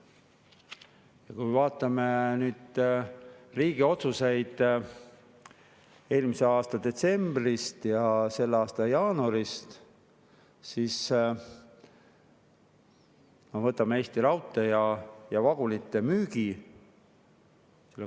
Ja kui me vaatame nüüd riigi otsuseid eelmise aasta detsembrist ja selle aasta jaanuarist, siis võtame Eesti Raudtee ja vagunite müügi.